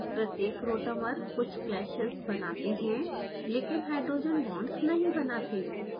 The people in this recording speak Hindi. प्रत्येक rotamer कुछ clashes बनाते हैं लेकिन hydrogen bonds नहीं बनाते